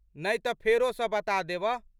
नहि तऽ फेरो सँ बता देबह।